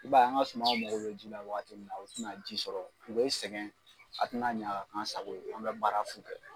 I b'a ye an ka sumaw mago bɛ ji la wagati min na u tɛ na ji sɔrɔ u bɛ sɛgɛn a tɛ na ɲa ka kɛ an sago ye an bɛ baara fu kɛ.